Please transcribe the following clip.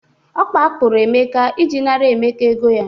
Ọ kpakpuru Emeka iji nara Emeka ego ya.